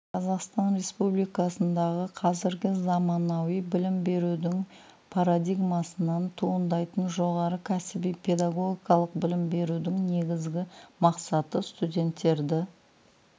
қазақстан республикасындағы қазіргі заманауи білім берудің парадигмасынан туындайтын жоғары кәсіби педагогикалық білім берудің негізгі мақсаты студенттерді